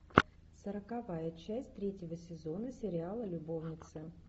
сороковая часть третьего сезона сериала любовницы